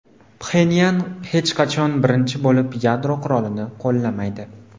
Pxenyan hech qachon birinchi bo‘lib yadro qurolini qo‘llamaydi.